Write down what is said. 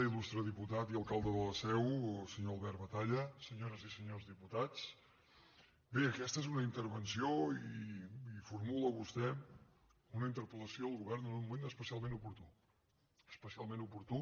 il·lustre diputat i alcalde de la seu senyor albert batalla senyores i senyors diputats bé aquesta és una intervenció i formula vostè una interpel·lació al govern en un moment especialment oportú especialment oportú